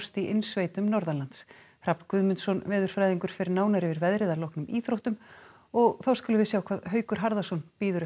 í innsveitum norðanlands Hrafn Guðmundsson veðurfræðingur fer nánar yfir veðrið að loknum íþróttum og þá skulum við sjá hvað Haukur Harðarson